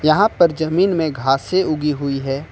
यहां पर जमीन में घासे उगी हुई है।